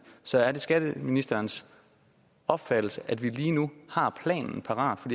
så er det skatteministerens opfattelse at vi lige nu har planen parat for